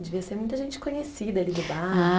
Devia ser muita gente conhecida ali do bar. Ah